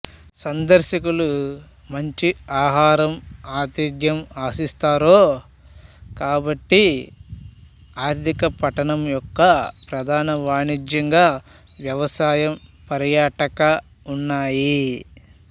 సందర్శకులు మంచి ఆహారం ఆతిథ్య ఆశిస్తారో కాబట్టి ఆర్థిక పట్టణం యొక్క ప్రధాన వాణిజ్యంగా వ్యవసాయం పర్యాటక ఉన్నాయి